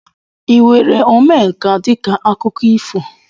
ị were Omenka dịka akụkọ ifo?